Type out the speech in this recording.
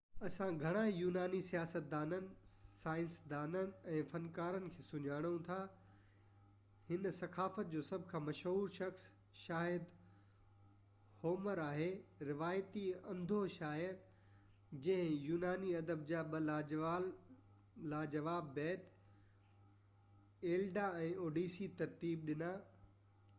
اسان گهڻا ئي يوناني سياستدانن سائنسدانن ۽ فنڪارن کي سڃاڻو ٿا هن ثقافت جو سڀ کان مشهور شخص شايد هومر آهي روايتي انڌو شاعر جنهن يوناني ادب جا ٻہ لاجواب بيت ايلياڊ ۽ اوڊيسي ترتيب ڏنا